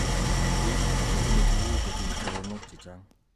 Biik chetinye tukuk kotinye choronok chechang